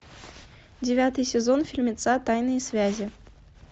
девятый сезон фильмеца тайные связи